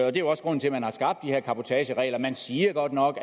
er jo også grunden til at man har skabt de her cabotageregler man siger godt nok